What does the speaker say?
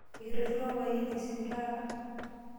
Ekitooshoko papai lino esimu taata?